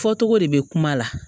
Fɔ cogo de bɛ kuma la